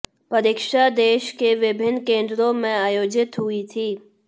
परीक्षा देश के विभिन्न केंद्रों में आयोजित हुई थी